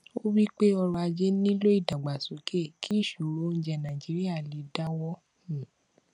ó wípé ọrò ajé nílò ìdàgbàsókè kí ìṣòro oúnjẹ nàìjíríà lè dáwọ um